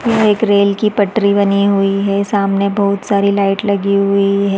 यहाँ एक रेल की पटरी बनी हुई है सामने बहुत सारी लाइट लगी हुई है।